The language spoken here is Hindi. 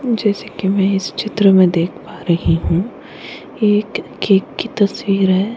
जैसे कि मैं इस चित्र में देख पा रही हूँ एक केक तस्वीर है।